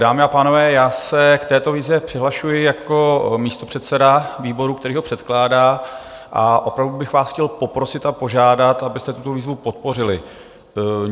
Dámy a pánové, já se k této výzvě přihlašuji jako místopředseda výboru, který ho předkládá, a opravdu bych vás chtěl poprosit a požádat, abyste tuto výzvu podpořili.